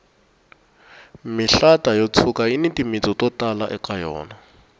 mihlata yo tshuka yini timitsu to tala eka yona